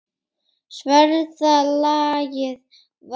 Sverða lagið varði.